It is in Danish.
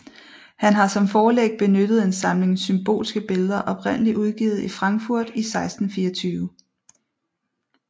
Han har som forlæg benyttet en samling symbolske billeder oprindelig udgivet i Frankfurt i 1624